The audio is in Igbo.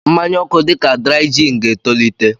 mmanya oku dị ka Dry Gin ga-etolite.